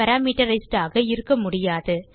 parameterized ஆக இருக்கமுடியாது